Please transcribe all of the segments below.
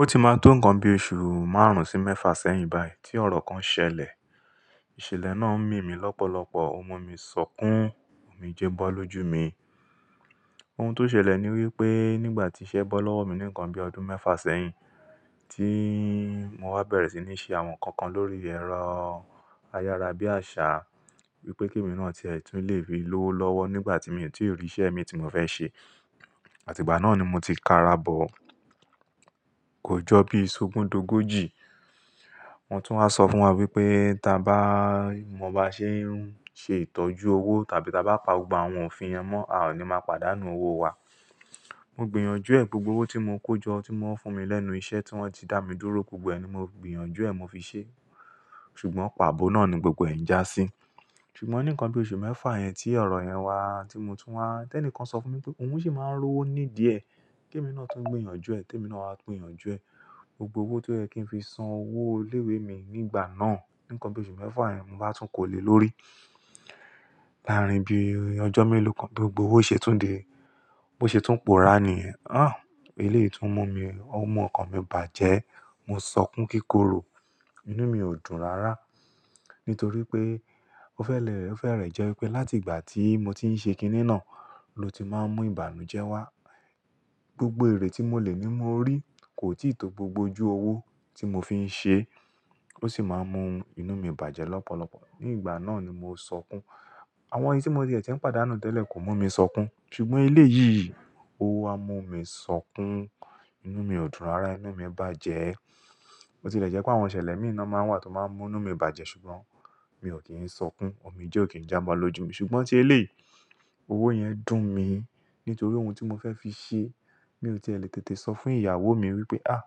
Ó ti máa tó nǹkan bí oṣù márùn-ún sí mẹ́fà sẹ́yìn báyìí tí ọ̀rọ̀ kan ṣẹlẹ̀. Ìṣẹ̀lẹ̀ náà ń mì mí lọ́pọ̀lọpọ̀, ó mú mi ṣọkùn, òmìjé bọ́ lójú mi. Ohun tó ṣẹlẹ̀ ni wípé nígbà tí iṣẹ́ bọ́ lọ́wọ́ mi nìkan bí ọdún mẹ́fà sẹ́yìn, tí mo wá bẹ̀rẹ̀ sí ní ṣe àwọn nǹkan kan lórí ẹ̀rọ ayára bí àṣá, wípé kí èmi náà tiẹ̀ tún le fi lowó lọ́wọ́ nígbà tí mí ti rí iṣẹ́ mi tí mo fẹ́ ṣe. Àti ìgbà náà ni mo ti ka'ra bọ kò jọ bí ṣo ogundogòjì. Wọn tún wá sọ fún wa wípé ta bá, mo bá ṣe n se itoju owó tàbí tí a bá pa gbogbo àwọn òfin yẹn mọ́, a ò ní máa pàdánù owó wa. Mo gbìyànjú ẹ̀, gbogbo owó tí mo kó jọ tí wọ́n fún mi lẹ́nu iṣẹ́ tí wọ́n ti dá mi dúró, gbogbo ẹ̀ ni mo gbìyànjú ẹ̀ mo fi ṣe. Ṣùgbọ́n pàbọ́ náà ni gbogbo ẹ̀ jásí. Ṣùgbọ́n nǹkan bí oṣù mẹ́fà yẹn tí ọ̀rọ̀ yẹn wá tí mo tún wá, tẹ́nìkan sọ fún mi pé òun ṣì máa ń rówó ní díẹ̀. Kí èmi náà tún gbìyànjú ẹ̀, tèmi náà wá gbìyànjú ẹ̀. Gbogbo owó tó yẹ kí n fi san owó ilé ìwé mi nígbà náà, nǹkan bí oṣù mẹ́fà yẹn mo bá tún kò lè lórí. Lárìn bí ọjọ́ mélòó kan bí gbogbo owó ṣe tún dé, bó ṣe tún pòórá ni. Àh! Elé yìí tún mú mi, ó mú ọkàn mi bàjẹ́, mo ṣọkùn kíkorò, inú mi ò dùn rárá. Nítorí pé ó fẹ́lẹ̀, ó fẹ́rẹ̀ jẹ́ wípé láti ìgbà tí mo ti ń ṣe kiní náà ló ti máa ń mú ìbànújẹ́ wá. Gbogbo èrè tí mo lè ní mo rí kò tíì tó gbogbo ojú owó tí mo fi ń ṣe. Ó sì máa ń mú inú mi bàjẹ́ lọ́pọ̀lọpọ̀. Ní ìgbà náà ni mo ṣọkùn. Àwọn èyí tí mo tii ń ti pàdánù tẹ́lẹ̀ kò mú mi ṣọkùn. Ṣùgbọ́n elé yìí, o wá mú mi ṣọkùn, inú mi ò dùn rárá, inú mi ń bàjẹ́. Bo ti lè jẹ́ pé àwọn ìṣẹ̀lẹ̀ mi na máa n wà tó máa ń mú inú mi bàjẹ́ ṣùgbọ́n mi ò kí ń ṣọkùn. Òmíjé ò kí ń jámọ̀ lójú mi. Ṣùgbọ́n tí eléyi owó yẹn dùn mi nítorí ohun tí mo fẹ́ fi ṣe mi ò tí è le tètè sọ fún ìyàwó mi wípé, àh!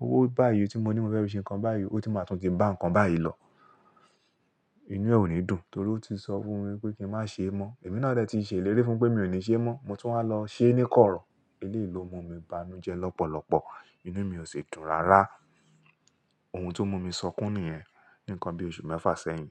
Owó báyìí tí mo ní mo fẹ́ fi ṣe nǹkan báyìí, ó tun máa tún ti bá nǹkan báyìí lọ. Inú ẹ ò ní dùn torí ó ti sọ fún mi wípé kí n má ṣe mọ́. Èmi náà dẹ́ ti ṣèlérí fún pé mi ò ní ṣe mọ́. Mo tún wá lọ ṣe ní kọ̀rọ̀. Elé yìí ló mú mi bá inujẹ́ lọ́pọ̀lọpọ̀. Inú mi ò ṣe dùn rárá. Ohun tó mú mi ṣọkùn nìyẹn. Nǹkan bí oṣù mẹ́fà sẹ́yìn.